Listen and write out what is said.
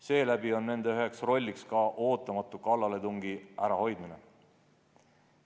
Seeläbi on üks nende roll ka ootamatu kallaletungi ärahoidmine.